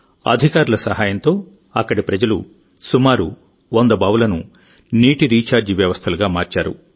అధికారుల సహాయంతో అక్కడి ప్రజలు సుమారు వంద బావులను నీటి రీఛార్జ్ వ్యవస్థలుగా మార్చారు